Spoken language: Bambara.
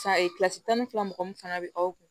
tan ni fila mɔgɔ min fana be aw kun